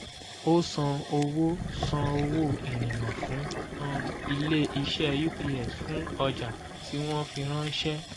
o san owó san owó ìrìnnà fún um ilé-iṣẹ́ ups fún ọjà tí wọ́n fi ránṣẹ́.